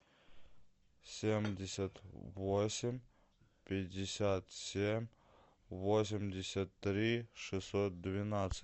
семьдесят восемь пятьдесят семь восемьдесят три шестьсот двенадцать